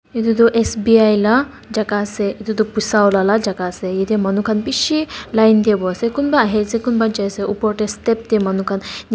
etu tu S B I la jaga ase etu tu poisa ula la jaga ase yete manu kan bishi line de building ase kunba ahi ase kunba jai ase upor de step de manu kan ni.